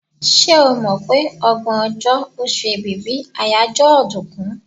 Ṣé o mọ̀ pé ọgbọ̀n ọjọ́, oṣù Èbìbí àyájọ́ ọ̀dùnkún?